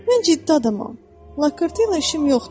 Mən ciddi adamam, laqeyd işim yoxdur.